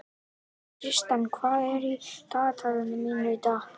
Tristan, hvað er í dagatalinu mínu í dag?